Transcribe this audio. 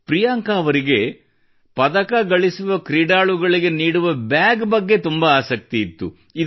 ಪ್ರೀಯಾಂಕಾ ಅವರಿಗೆ ಪದಕಗಳಿಸುವ ಕ್ರೀಡಾಳುಗಳಿಗೆ ನೀಡುವ ಬ್ಯಾಗ್ ಬಗ್ಗೆ ತುಂಬಾ ಆಸಕ್ತಿಯಿತ್ತು